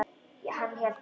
Hann hélt svo fast.